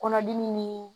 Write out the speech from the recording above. Kɔnɔdimi nii